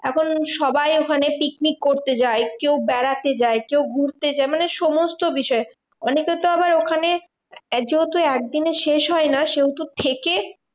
এখন সবাই ওখানে picnic করতে যায়। কেউ বেড়াতে যায় কেউ ঘুরতে যায়। মানে সমস্ত বিষয় অনেকে তো আবার ওখানে, যেহেতু একদিনে শেষ হয় না সেহেতু থেকে